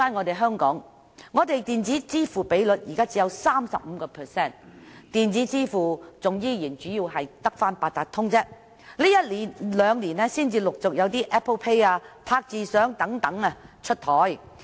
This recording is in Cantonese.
在香港，電子支付的比率只有 35%， 支付方式主要仍是八達通，這兩年才開始陸續有 Apple Pay、"拍住賞"等出台。